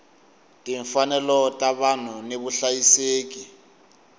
timfanelo ta vanhu ni vuhlayiseki